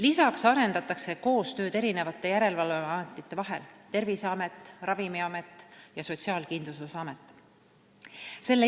Lisaks arendatakse koostööd järgmiste järelevalveametite vahel: Terviseamet, Ravimiamet ja Sotsiaalkindlustusamet.